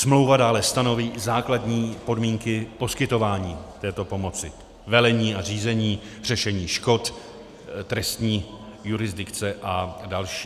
Smlouva dále stanoví základní podmínky poskytování této pomoci, velení a řízení, řešení škod, trestní jurisdikce a další.